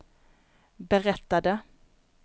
berättade